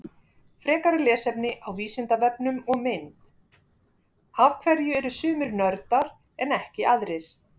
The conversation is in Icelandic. Frekara lesefni á Vísindavefnum og mynd: Af hverju eru sumir nördar en ekki aðrir?